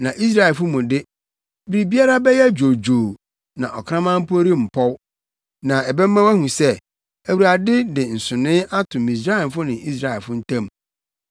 Na Israelfo mu de, biribiara bɛyɛ dwoodwoo na ɔkraman mpo rempɔw.’ Na ɛbɛma woahu sɛ, Awurade de nsonoe ato Misraimfo ne Israelfo ntam!